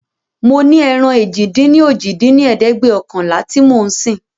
mo ní ẹran èjì-dín-ní-ojì dín ní ẹ̀ẹ́dẹ́gbẹ́ọ̀kànlá tí mo ń sìn.